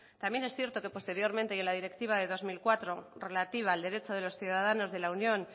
también es cierto que posteriormente y en la directiva de dos mil cuatro relativa al derecho de los ciudadanos de la unión